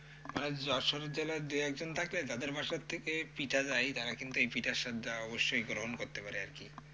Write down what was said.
মানে যশোরে জেলার দু একজন থাকলে তাদের বাসার থেকে পিঠা যায়, তারা কিন্তু এই পিঠার স্বাদটা অবশ্যই গ্রহণ করতে পারে আরকি।